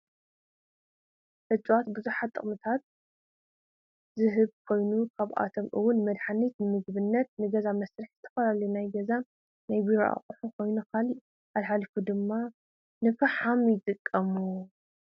እፅዋት ብሓዙሓት ጥቅምታት ዝህብ ኮይኑ ካብኣቶም እወን ንመድሓኒት፣ ንምግብነት፣ ንገዛ መድርሒ ፣ንዝተፈላለዩ ናይ ገዛን ናይ ቢሮ ኣቁሑት ኮይኑ ካብኡ ሓሊፉ ድማ ንፋሕም ይጠቅሙ።